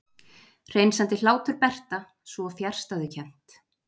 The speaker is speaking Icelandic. Hreinsandi hlátur Berta, svo fjarstæðukennt.